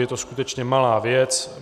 Je to skutečně malá věc.